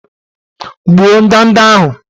Gbuo ndanda ahụ!